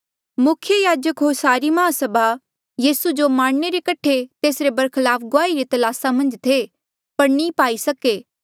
मुख्य याजक होर सारी माहसभा यीसू जो मारणे रे कठे तेसरे बरखलाफ गुआही री तलासा मन्झ थे पर नी पाई सके